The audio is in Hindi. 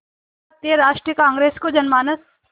भारतीय राष्ट्रीय कांग्रेस को जनमानस